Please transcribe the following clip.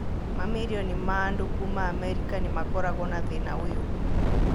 Mamirioni ma andũ kuuma Amerika nĩ makoragũo na thĩna ũyũ.